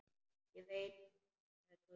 Ég veit það, sagði Tóti.